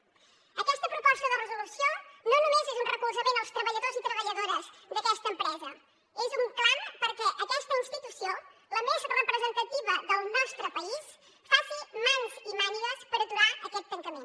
aquesta proposta de resolució no només és un recolzament als treballadors i treballadores d’aquesta empresa és un clam perquè aquesta institució la més representativa del nostre país faci mans i mànigues per aturar aquest tancament